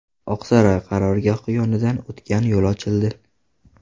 Oqsaroy qarorgohi yonidan o‘tgan yo‘l ochildi .